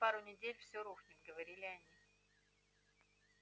через пару недель всё рухнет говорили они